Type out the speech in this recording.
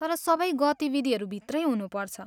तर सबै गतिविधिहरू भित्रै हुनुपर्छ।